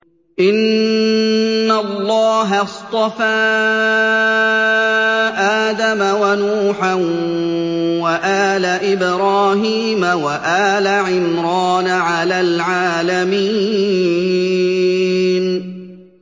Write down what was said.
۞ إِنَّ اللَّهَ اصْطَفَىٰ آدَمَ وَنُوحًا وَآلَ إِبْرَاهِيمَ وَآلَ عِمْرَانَ عَلَى الْعَالَمِينَ